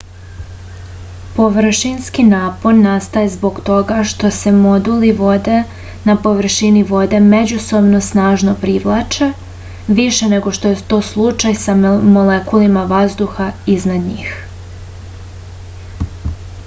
površinski napon nastaje zbog toga što se molekuli vode na površini vode međusobno snažno privlače više nego što je to slučaj sa molekulima vazduha iznad njih